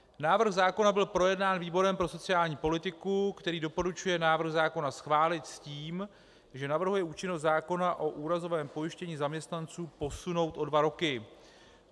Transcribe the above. Návrh zákona byl projednán výborem pro sociální politiku, který doporučuje návrh zákona schválit s tím, že navrhuje účinnost zákona o úrazovém pojištění zaměstnanců posunout o dva roky.